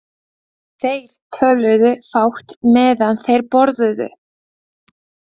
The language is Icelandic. Þeir töluðu fátt meðan þeir borðuðu.